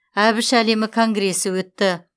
әбіш әлемі конгресі өтті